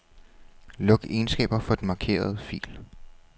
Luk egenskaber for den markerede fil.